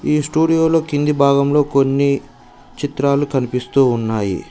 ఈ స్టూడియో లో కింది భాగంలో కొన్ని చిత్రాలు కనిపిస్తు ఉన్నాయి.